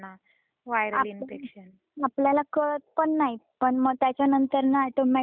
आपल्याला कळत पण नाही पण मग त्याच्या नंतर ऑटोमॅटिक चेंज होऊन जात